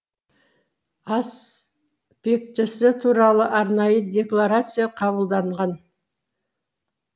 аспектісі туралы арнайы декларация қабылданған